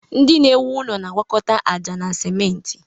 Ndị na-ewu ụlọ na-agwakọta aja na simentị.